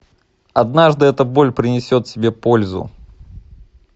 однажды эта боль принесет тебе пользу